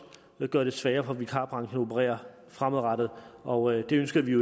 gøre det sværere for vikarbranchen at operere fremadrettet og det ønsker vi